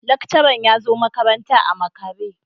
Lecturer ya zo makaranta a makare.